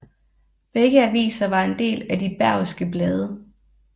Begge aviser var en del af De Bergske Blade